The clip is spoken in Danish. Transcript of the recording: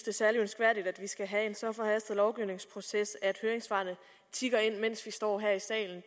er særlig ønskværdigt at vi skal have en så forhastet lovgivningsproces at høringssvarene tikker ind mens vi står her i salen